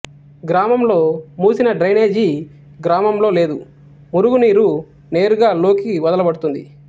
గ్రామంలోమూసిన drainage గ్రామంలో లేదు మురుగునీరు నేరుగా లోకి వదలబడుతోంది